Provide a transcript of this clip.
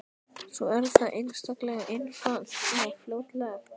Svo er það einstaklega einfalt og fljótlegt.